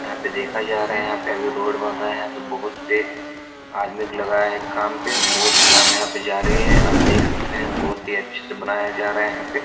यहाँ पे देखा जा रहा है यहाँ पे अभी रोड बन रहा है यहाँ पे बहुत से आदमी को लगाया है काम पे बहुत काम यहाँ पे जारी है आप देख सकते हैं बहुत ही अच्छे से बनाया जा रहा है यहाँ पे।